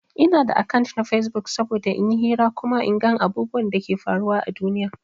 Ina da akant na Facebook saboda in yi hira kuma in gan abubwan Dake faruwa à duniya.